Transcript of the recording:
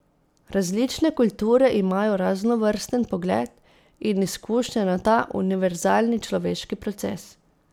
Različne kulture imajo raznovrsten pogled in izkušnje na ta univerzalni človeški proces.